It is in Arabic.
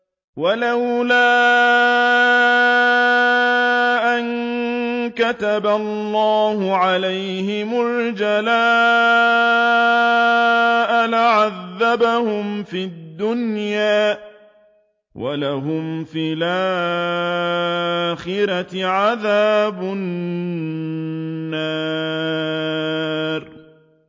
وَلَوْلَا أَن كَتَبَ اللَّهُ عَلَيْهِمُ الْجَلَاءَ لَعَذَّبَهُمْ فِي الدُّنْيَا ۖ وَلَهُمْ فِي الْآخِرَةِ عَذَابُ النَّارِ